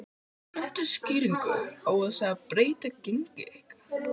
Kanntu skýringu á þessu breytta gengi ykkar?